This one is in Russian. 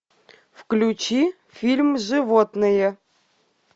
включи фильм животные